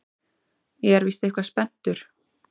Ég er víst eitthvað spenntur.